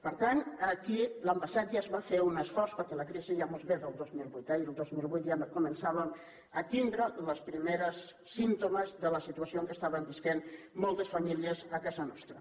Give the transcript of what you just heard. per tant aquí l’any passat ja es va fer un esforç perquè la crisi ja ens ve del dos mil vuit eh i el dos mil vuit ja començàvem a tindre els primers símptomes de la situació en què estaven vivint moltes famílies a casa nostra